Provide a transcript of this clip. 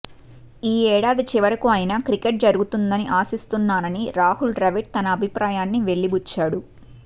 ఈ ఏడాది చివరకు అయినా క్రికెట్ జరుగుతుందని ఆశిస్తున్నానని రాహుల్ ద్రవిడ్ తన అభిప్రాయాన్ని వెలిబుచ్చాడు